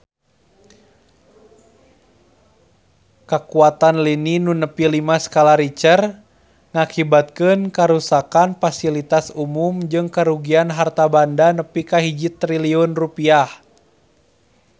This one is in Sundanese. Kakuatan lini nu nepi lima skala Richter ngakibatkeun karuksakan pasilitas umum jeung karugian harta banda nepi ka 1 triliun rupiah